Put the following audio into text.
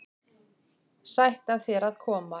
Sætt af þér að koma.